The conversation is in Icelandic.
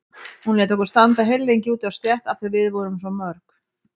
Hún lét okkur standa heillengi úti á stétt af því að við vorum svo mörg.